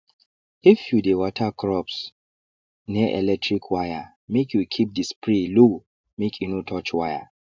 if you dey water crops near electric wire make you keep the spray low make e no touch wire